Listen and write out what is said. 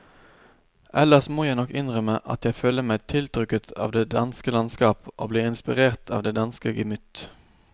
Ellers må jeg nok innrømme at jeg føler meg tiltrukket av det danske landskap og blir inspirert av det danske gemytt.